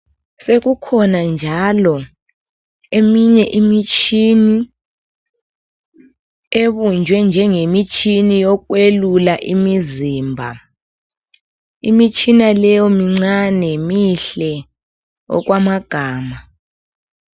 Sekukhona njalo eminye imitshini ebunjwe njengemitshini yokwelula imizimba. Imitshina leyo mincane mihle okwamagama.